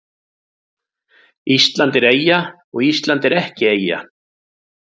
Ísland er eyja og Ísland er ekki eyja